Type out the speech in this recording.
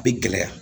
Bɛ gɛlɛya